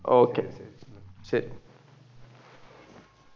okay ശരി.